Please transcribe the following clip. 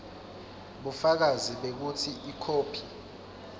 bufakazi bekutsi ikhophi